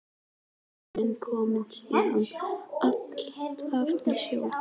Ný mynd kom síðan alltaf í ljós.